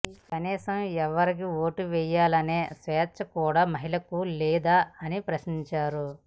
కనీసం ఎవరికి ఓటు వేయాలనే స్వేచ్ఛ కూడా మహిళలకు లేదా అని ప్రశ్నించారు